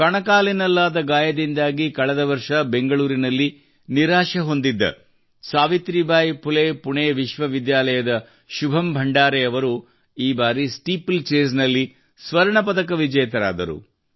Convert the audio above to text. ಕಣಕಾಲಿನಲ್ಲಾದ ಗಾಯದಿಂದಾಗಿ ಕಳೆದ ವರ್ಷ ಬೆಂಗಳೂರಿನಲ್ಲಿ ನಿರಾಶೆ ಹೊಂದಿದ್ದ ಸಾವಿತ್ರೀಬಾಯಿ ಫುಲೆ ಪುಣೆ ವಿಶ್ವವಿದ್ಯಾಲಯದ ಶುಭಂ ಭಂಡಾರೆ ಅವರು ಈ ಬಾರಿ ಸ್ಟೀಪಲ್ ಚೇಸ್ ನಲ್ಲಿ ಸ್ವರ್ಣ ಪದಕ ವಿಜೇತರಾದರು